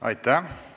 Aitäh!